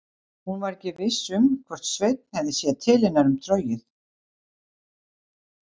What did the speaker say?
Hún var ekki viss um hvort Sveinn hefði séð til hennar með trogið.